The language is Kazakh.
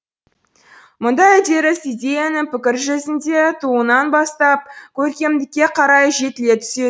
мұндай үдеріс идеяның пікір жүзінде тууынан бастап көркемдікке қарай жетіле түсе